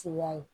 Suguya ye